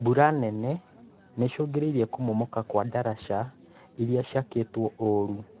Mbura nene noicũngĩrĩrie kũmomoka kwa daraca irĩa ciakĩtwo ũru